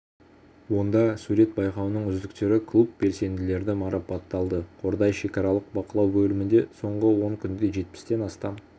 онда сурет байқауының үздіктері клуб белсенділері марапатталды қордай шекаралық бақылау бөлімінде соңғы он күнде жетпістен астам